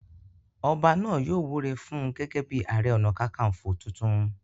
Ọba náà yóò wúre fún un gẹ́gẹ́ bíi ààrẹ ọ̀nà kakaǹfò tuntun.